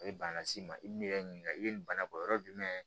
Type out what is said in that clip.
A ye bana las'i ma i b'i yɛrɛ ɲininka i bɛ nin bana bɔ yɔrɔ jumɛn